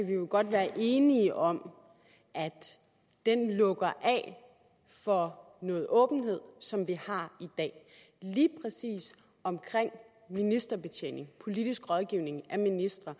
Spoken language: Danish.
vi jo godt være enige om at den lukker af for noget åbenhed som vi har i dag lige præcis omkring ministerbetjening politisk rådgivning af ministre